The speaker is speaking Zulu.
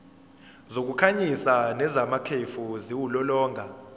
zokukhanyisa nezamakhefu ziwulolonga